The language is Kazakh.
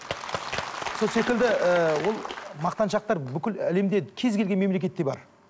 сол секілді ыыы ол мақтаншақтар бүкіл әлемде кез келген мемлекетте бар